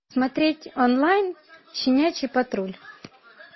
смотреть онлайн щенячий патруль